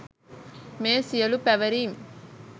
මේ සියලු පැවරීම්